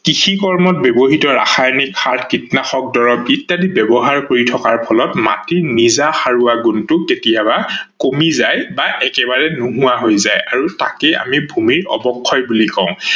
কৃষি কৰ্মত ব্যৱহিত ৰাসায়নিক সাৰ, কীটনাশক দৰব ইত্যাদি ব্যৱহাৰ কৰি থকাৰ ফলত মাটিৰ নিজা সাৰোৱা গুনটো কতিয়াবা কমি যায় বা একেবাৰে নোহোৱা হৈ যায় তাকে আমি ভূমি অৱক্ষয় বুলি কও।